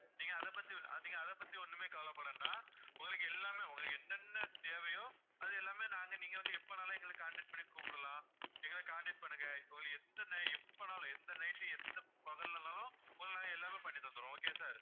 நீங்க அதை பத்தி நீங்க அதை பத்தி ஒண்ணுமே கவலைப்பட வேண்டாம் உங்களுக்கு எல்லாமே என்னென்ன தேவையோ அது எல்லாமே நாங்க நீங்க வந்து எப்போன்னாலும் எங்களுக்கு contact பண்ணி கூப்பிடலாம் எங்களுக்கு contact பண்ணுங்க இப்போ எத்தனை எப்போனாலும் எந்த night எந்த பகல்லனாலும் உங்களுக்கு நாங்க எல்லாமே பண்ணி தந்துடுவோம் okay யா sir